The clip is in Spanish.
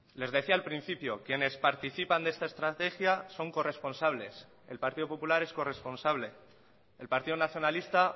les decía al principio quienes participan de esta estrategia son corresponsables el partido popular es corresponsable el partido nacionalista